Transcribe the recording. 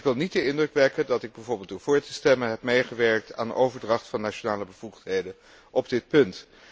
En ik wil niet de indruk wekken dat ik bijvoorbeeld door vóór te stemmen heb meegewerkt aan de overdracht van nationale bevoegdheden op dit punt.